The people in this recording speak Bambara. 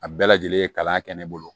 A bɛɛ lajɛlen ye kalan kɛ ne bolo